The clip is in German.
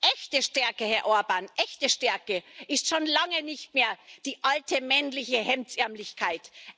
Echte Stärke, Herr Orbán, echte Stärke ist schon lange nicht mehr die alte männliche Hemdsärmeligkeit.